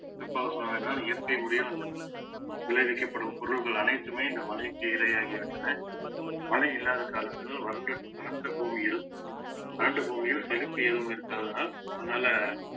என்றால் இயற்கை முறையா வந்து விளைவிக்கப்படும் பொருட்கள் அனைத்துமே இந்த மலைக்கு இரையாகிவிட்டன மழை இல்லாத காரணத்தினால் வறண்ட வறண்ட பூமியிலும் வறண்ட பூமியில் செழிப்பு எதுவும் இருக்காதனால் அதனால